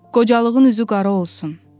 Qocalığın üzü qara olsun.